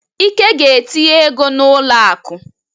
Ike ga-etinye ego n'ụlọ akụ.